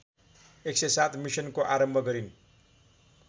१०७ मिसनको आरम्भ गरिन्